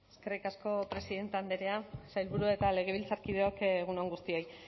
eskerrik asko presidente andrea sailburu eta legebiltzarkideok egun on guztioi